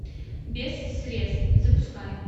без средств запускай